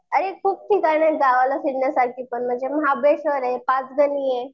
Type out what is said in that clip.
अरे खूप ठिकाणे गावाला फिरण्यासाठी पण म्हणजे महाबळेश्वर आहे पाचगणी आहे.